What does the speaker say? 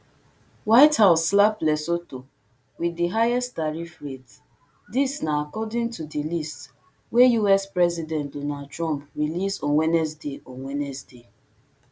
white house slap lesotho wit di highest tariff rate dis na according to di list wey us president donald trump release on wednesday on wednesday